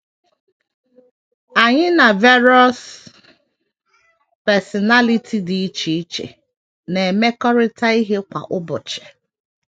ANYỊ na varous personality dị iche iche na - emekọrịta ihe kwa ụbọchị.